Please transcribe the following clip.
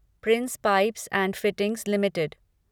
Prince Pipes and Fittings limited